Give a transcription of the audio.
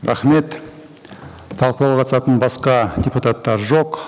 рахмет талқылауға қатысатын басқа депутаттар жоқ